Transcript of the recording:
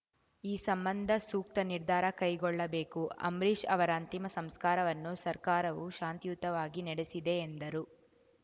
ಈ ಸಂಬಂಧ ಸೂಕ್ತ ನಿರ್ಧಾರ ಕೈಗೊಳ್ಳಬೇಕು ಅಂಬರೀಶ್‌ ಅವರ ಅಂತಿಮ ಸಂಸ್ಕಾರವನ್ನು ಸರ್ಕಾರವು ಶಾಂತಿಯುತವಾಗಿ ನಡೆಸಿದೆ ಎಂದರು